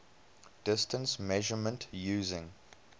distance measurement using